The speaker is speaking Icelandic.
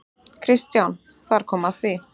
KRISTJÁN: Þar kom að því!